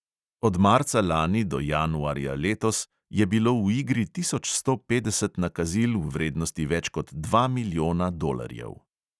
Od marca lani do januarja letos je bilo v igri tisoč sto petdeset nakazil v vrednosti več kot dva milijona dolarjev.